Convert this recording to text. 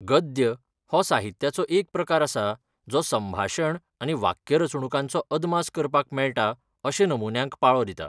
गद्य हो साहित्याचो एक प्रकार आसा जो संभाशण आनी वाक्यरचणूकांचो अदमास करपाक मेळटा अशे नमुन्यांक पाळो दिता.